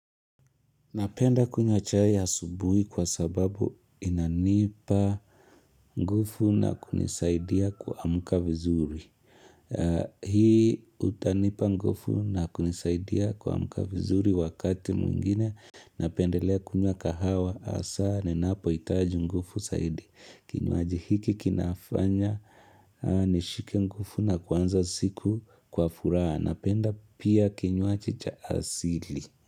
Napenda kunywa chai ya asubuhi kwa sababu inanipa ngufu na kunisaidia kuamka vizuri. Hii utanipa ngufu na kunisaidia kuamka vizuri wakati mwingine. Napendelea kunywa kahawa hasa ninapoitaji ngufu saidi. Kinywaji hiki kinafanya nishike ngufu na kwanza siku kwa furaha. Napenda pia kinywaji cha asili.